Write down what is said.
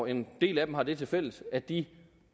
en del af dem har det tilfælles at de